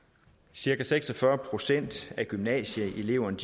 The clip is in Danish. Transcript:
cirka seks og fyrre procent af gymnasieeleverne